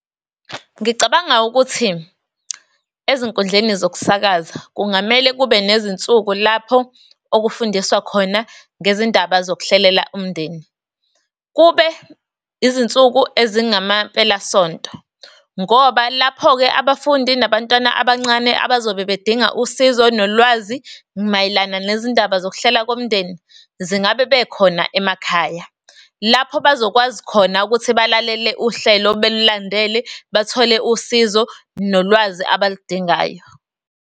Ngicabanga ukuthi ezinkundleni zokusakaza kungamele kube nezinsuku lapho okufundiswa khona ngezindaba zokuhlelela umndeni. Kube izinsuku ezingama-mpelasonto. Ngoba lapho-ke abafundi nabantwana abancane abazobe bedinga usizo nolwazi mayelana nezindaba zokuhlela komndeni zingabe bekhona emakhaya lapho bazokwazi khona ukuthi balalele uhlelo, belulandele, bathole usizo nolwazi abaludingayo.